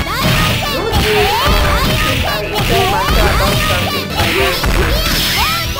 no dey um chook eye inside mata about campaign financing